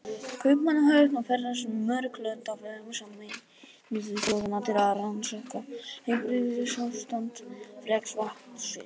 Kaupmannahöfn og ferðast um mörg lönd á vegum Sameinuðu þjóðanna til að rannsaka heilbrigðisástand ferskvatnsfisks.